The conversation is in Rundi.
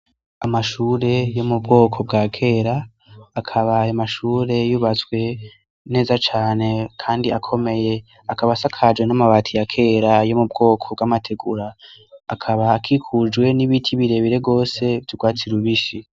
Amashure yo mu bwoko bwa kera akabaye amashure yubatswe neza cane, kandi akomeye akabasa kaje n'amabati ya kera yo mu bwoko bw'amategura akaba akikujwe n'ibiti birebire rwose rwatsira ubishi.